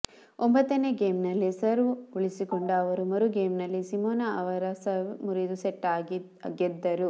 ಒಂಬತ್ತನೇ ಗೇಮ್ನಲ್ಲಿ ಸರ್ವ್ ಉಳಿಸಿಕೊಂಡ ಅವರು ಮರು ಗೇಮ್ನಲ್ಲಿ ಸಿಮೊನಾ ಅವರ ಸರ್ವ್ ಮುರಿದು ಸೆಟ್ ಗೆದ್ದರು